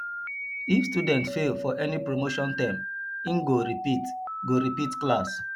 if student fail for any promotion term in go repeat go repeat class